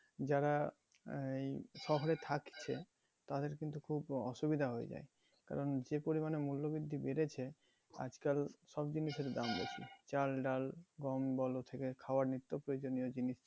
যারা আহ শহরে থাকছে তাদের কিন্তু খুব অসুবিধা হয়ে যায়। কারণ যে পরিমানে মূল্য বৃদ্ধি বেড়েছে আজকাল সব জিনিসেরই দাম বেশি। চাল ডাল গম থেকে খাবার নিত্য প্রয়োজনীয় জিনিস